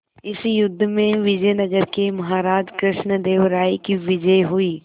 इस युद्ध में विजय नगर के महाराज कृष्णदेव राय की विजय हुई